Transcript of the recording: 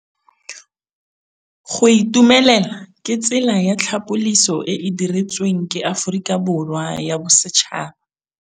Go itumela ke tsela ya tlhapolisô e e dirisitsweng ke Aforika Borwa ya Bosetšhaba.